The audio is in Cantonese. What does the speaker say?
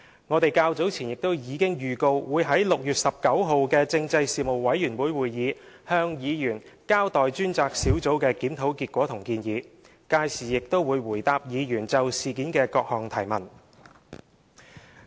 我們較早前亦已經預告會在6月19日的事務委員會會議上向委員交代專責小組的檢討結果和建議，屆時亦會回答委員就事件的各項提問。